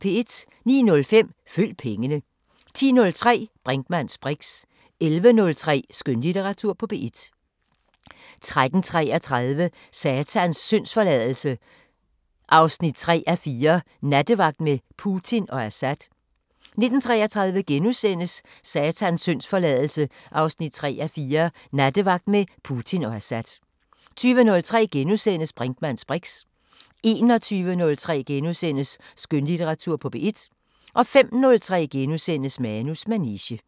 09:05: Følg pengene 10:03: Brinkmanns briks 11:03: Skønlitteratur på P1 13:33: Satans syndsforladelse 3:4 – Nattevagt med Putin og Assad 19:33: Satans syndsforladelse 3:4 – Nattevagt med Putin og Assad * 20:03: Brinkmanns briks * 21:03: Skønlitteratur på P1 * 05:03: Manus manege *